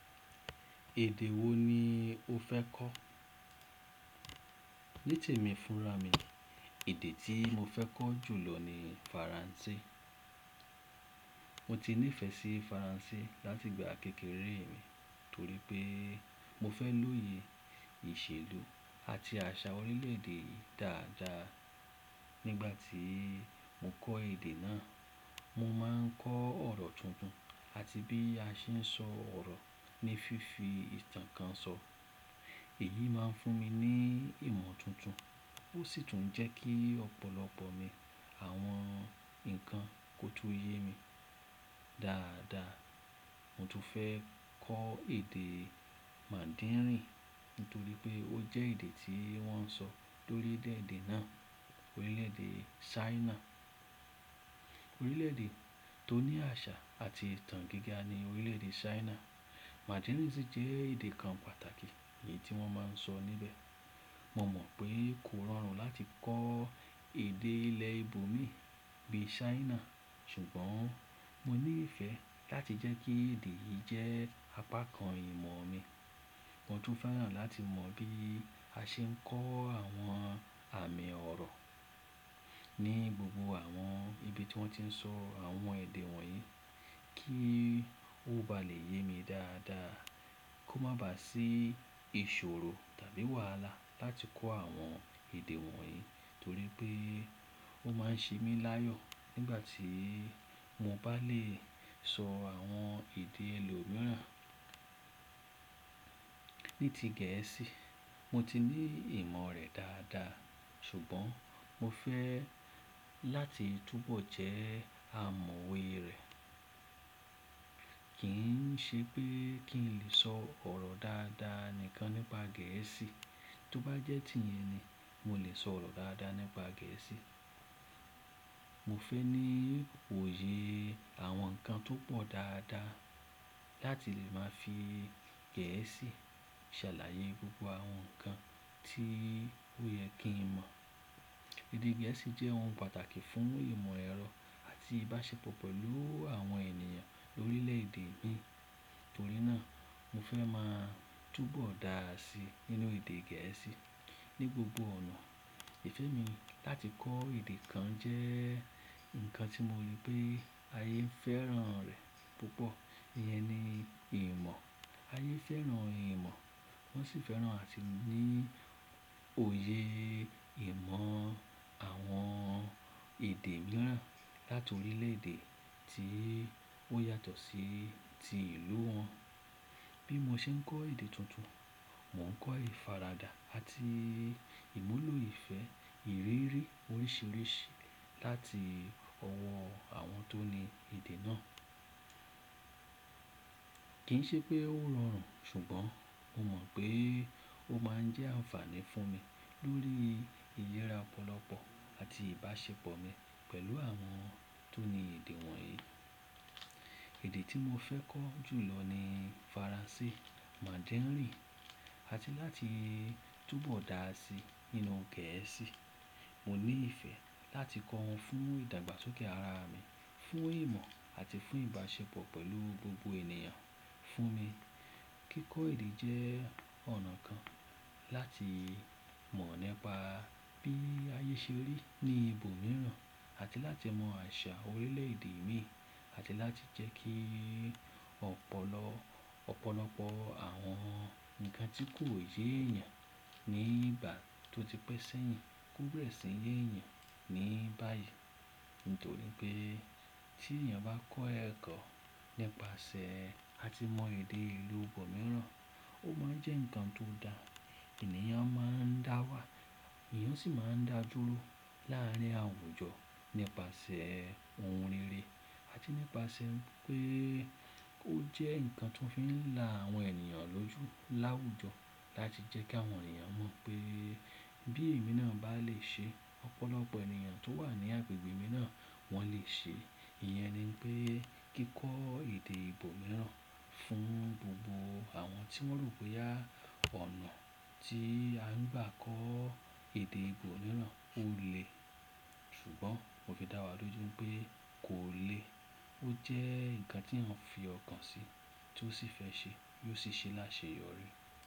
Èdè wo ni o fẹ́ kọ́? Ní temí fúnra mi, èdè tí mo fẹ́ kọ́ jù lọ ni Faransé. Mo ti nífẹ̀ẹ́ sí Faransé láti ìgbà kékeré mi, torí pé mo fẹ́ lóye ìṣèlú àti àṣà orílẹ̀-èdè yìí dáadáa. Nígbà tí mo kọ́ èdè náà, mo máa ń kọ́ ọ̀rọ̀ tuntun àti bí a ṣe ń sọ ọ̀rọ̀ ní fífi ìtàn kan sọ. Èyí máa ń fún mi ní ìmọ̀ tuntun, ó sì tún jẹ́ kí ọ̀pọ̀lọpọ̀ mi àwọn nǹkan kó tún yé mi dáadáa. Mo tún fẹ́ kọ́ èdè Mandarin nítorí pé ó jẹ́ èdè tí wọ́n ń sọ lórílẹ̀èdè náà, orílẹ̀èdè China. Orílẹ̀èdè tó ní àṣà àti ìtàn gíga ni orílẹ̀èdè Ṣáínà. Mandarin sì jẹ́ èdè kan pàtàkì èyí tí wọ́n máa ń sọ níbẹ̀. Mo mọ̀ pé kò rọrùn láti kọ́ èdè ilẹ̀ ìbò mi bíi China, ṣùgbọ́n mo ní ìfẹ́ láti jẹ́ kí èdè yìí jẹ́ apá kan ìmọ̀ mi. Mo tún fẹ́ràn láti mọ̀ bí a ṣe ń kọ́ àwọn àmì ọ̀rọ̀ ní gbogbo àwọn ibi tí wọ́n ti ń sọ àwọn èdè wọ̀nyí kí ó bá lè yé mi dáadáa, kó má bá à sí ìṣòro tàbí wàhálà láti kọ́ àwọn èdè wọ̀nyí torí pé ó máa ń ṣe mí láyọ̀ nígbà tí mo bá lè sọ àwọn èdè ìlú mìíràn. Ní ti Gẹ̀ẹ́sì, mo ti ní ìmọ̀ rẹ̀ dáadáa ṣùgbọ́n mo fẹ́ láti túnbọ̀ jẹ́ amọ̀we rẹ̀. Kì n ṣe pé kí n lè sọ ọ̀rọ̀ dáadáa nìkan nípa Gẹ̀ẹ́sì, tó bá jẹ́ ti ìyẹn ni mo lè sọ ọ̀rọ̀ dáadáa nípa Gẹ̀ẹ́sì. Mo fẹ́ ní òye àwọn nǹkan tó pọ̀ dáadáa láti lè máa fi Gẹ̀ẹ́sì ṣàlàyé gbogbo àwọn nǹkan tí ó yẹ kí n mọ̀. Èdè Gẹ̀ẹ́sì jẹ́ ohun pàtàkì fún ìmọ̀ ẹ̀rọ àti ìbáṣepọ̀ pẹ̀lú àwọn ènìyàn orílẹ̀èdè ibí torí náà mo fẹ́ máa túnbọ̀ dáa sí nínú èdè Gẹ̀ẹ́sì ní gbogbo ọ̀nà. Ìfẹ́ mi láti kọ́ èdè kan jẹ́ nǹkan tí mo rí pé ayé ń fẹ́ràn rẹ̀ púpọ̀, ìyẹn ni ìmọ̀. Ayé fẹ́ràn ìmọ̀, wọ́n sì fẹ́ràn àti ní òye ìmọ̀ àwọn èdè mìíràn láti orílẹ̀-èdè tí ó yàtọ̀ sí ti ìlú wọn. Bí mo ṣe ń kọ́ èdè tuntun, mò ń kọ́ ìfaradà àti ìmúlò ìfẹ́ ìrírí oríṣìíríṣìí láti ọwọ́ àwọn tó ní èdè náà. Kì í ṣe pé ó rọrùn ṣùgbọ́n mo mọ̀ pé ó máa ń jẹ́ àǹfààní fún mi lórí ìyẹ́ra ọ̀pọ̀lọpọ̀ àti ìbáṣepọ̀ mi pẹ̀lú àwọn tó ní èdè wọ̀nyí. Èdè tí mo fẹ́ kọ́ jù lọ ni Faransé, Mandarin àti láti túnbọ̀ dáa sí nínú Gẹ̀ẹ́sì. Mo ní ìfẹ́ láti kọ́ wọn fún ìdàgbàsókè ara mi, fún ìmọ̀ àti fún ìbáṣepọ̀ pẹ̀lú gbogbo ènìyàn. Fún mi, kíkọ́ èdè jẹ́ ọ̀nà kan láti mọ̀ nípa bí ayé ṣe rí ní ibo mìíràn àti láti mọ̀ àṣà orílẹ̀èdè mi àti láti jẹ́ kí ọ̀pọ̀lọpọ̀ àwọn nǹkan tí kò yé èèyàn ní ìgbà tó ti pẹ́ sẹ́yìn kó béèrè sí ń yé èèyàn ní báyìí nítorí pé tí èèyàn bá kọ́ ẹ̀kọ́ nípasẹ̀ àti mọ̀ èdè ìlú ibọ mìíràn, ó máa ń jẹ́ nǹkan tó dáa. Ẹ̀nìyàn máa ń dáwà, èèyàn sì máa ń dàdúró láàárín àwùjọ nípasẹ̀ ohun rere àti nípasẹ̀ pé ó jẹ́ nǹkan tó fi ń la àwọn ènìyàn lójú láwùjọ láti jẹ́ kí àwọn ènìyàn mọ̀ pé bí èmi náà bá lè ṣe, ọ̀pọ̀lọpọ̀ ènìyàn tó wà ní agbègbè mi náà wọ́n lè ṣe. Ìyẹn ni pé kíkọ́ èdè ìbò mìíràn fún gbogbo àwọn tí wọ́n ro bóyá ọ̀nà tí a ń gbà kọ́ èdè ìbò mìíràn, ó lè ṣùgbọ́n mo fi dá wà lójú n pé kò lè. Ó jẹ́ nǹkan tí èèyàn fi ọkàn sí, tó sì fẹ́ ṣe, yíò sì ṣe láṣeyọrí.